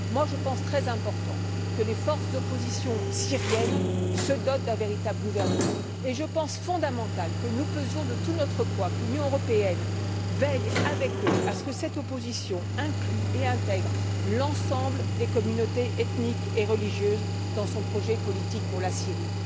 Moi, j'estime très important que les forces d'opposition syriennes se dotent d'un véritable gouvernement et je juge essentiel que nous pesions de tout notre poids, que l'Union européenne veille avec eux à ce que cette opposition inclue et intègre l'ensemble des communautés ethniques et religieuses dans son projet politique pour la Syrie.